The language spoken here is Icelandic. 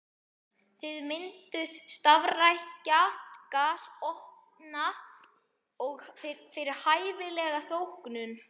Þið mynduð starfrækja gasofna fyrir hæfilega þóknun.